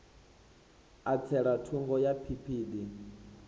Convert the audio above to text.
a tsela thungo ya phiphiḓi